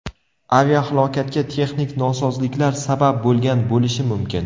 Aviahalokatga texnik nosozliklar sabab bo‘lgan bo‘lishi mumkin.